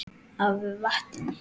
af vatni.